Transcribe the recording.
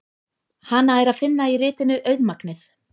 Hana er að finna í ritinu Auðmagnið.